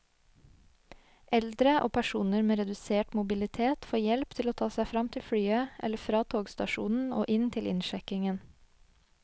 Eldre og personer med redusert mobilitet får hjelp til å ta seg frem til flyet eller fra togstasjonen og inn til innsjekkingen.